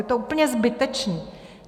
Je to úplně zbytečné.